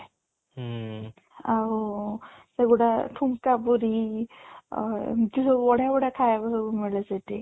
ଆଉ ସେଗୁଡା ଠୁଙ୍କା ପୁରି ଅ ଏମିତି ସବୁ ବଢିଆ ବଢିଆ ଖାଇବାକୁ ମିଳେ ସେଠି